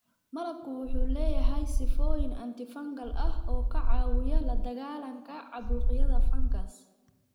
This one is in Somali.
Malabku wuxuu leeyahay sifooyin antifungal ah oo ka caawiya la dagaallanka caabuqyada fangas.